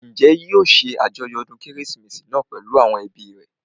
Njẹ́ yóò ṣe àjọyọ̀ ọdún kérésìmesì náà pèlú àwọn ẹbí rẹ̀?